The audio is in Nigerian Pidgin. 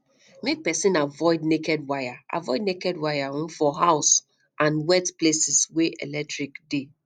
make person avoid naked wire avoid naked wire um for house and wet places wey electric dey